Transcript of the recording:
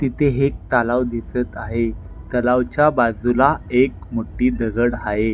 तिथे हेक तलाव दिसत आहे तलावच्या बाजुला एक मोठी दगड हाये.